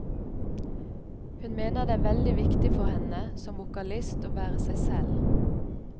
Hun mener det er veldig viktig for henne som vokalist å være seg selv.